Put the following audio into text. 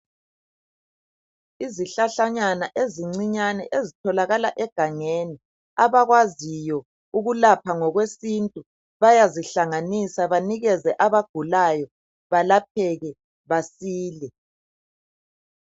Izihlahlanyana ezincinyane ezitholakala egangeni abakwaziyo ukulapha ngokwesintu bayazihlanganisa banikeze abagulayo balapheke basile.